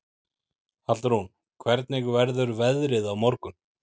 Hallrún, hvernig verður veðrið á morgun?